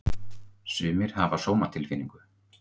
Sumir hafa sómatilfinningu.